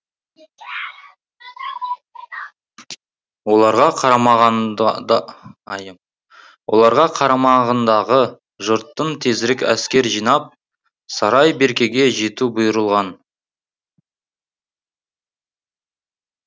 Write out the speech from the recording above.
оларға қарамағындағы жұрттың тезірек әскер жинап сарай беркеге жету бұйырылған